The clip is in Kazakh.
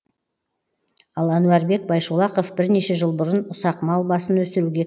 ал әнуарбек байшолақов бірнеше жыл бұрын ұсақ мал басын өсіруге